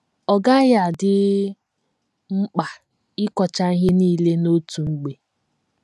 Ọ gaghị adị mkpa ịkọcha ihe nile n’otu mgbe.